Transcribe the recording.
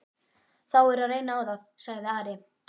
Þá er að reyna á það, sagði Ari.